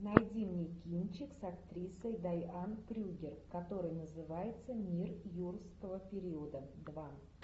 найди мне кинчик с актрисой дайан крюгер который называется мир юрского периода два